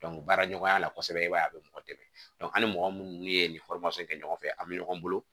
baara ɲɔgɔnya la kosɛbɛ i b'a ye a be mɔgɔ dɛmɛ an ni mɔgɔ munnu be yen ni kɛ ɲɔgɔn fɛ a bi ɲɔgɔn bolo